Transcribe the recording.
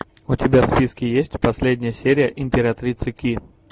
у тебя в списке есть последняя серия императрицы ки